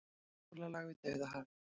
Sólarlag við Dauðahafið.